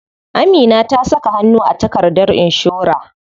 Amina ta saka hannu a takardar inshora.